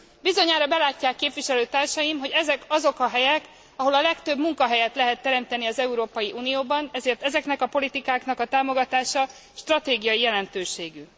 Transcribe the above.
Bizonyára belátják képviselőtársaim, hogy ezek azok a helyek, ahol a legtöbb munkahelyet lehet teremteni az Európai Unióban, ezért ezeknek a politikáknak a támogatása stratégiai jelentőségű.